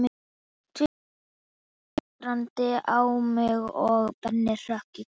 Tvíburarnir litu undrandi á mig og Benni hrökk í kút.